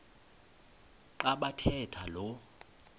xa bathetha lo